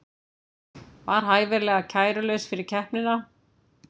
Var hæfilega kærulaus fyrir keppnina